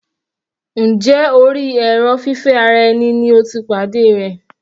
Njẹ́ orí èrò fífẹ́ ara ẹni ni o ti pàdé rẹ̀?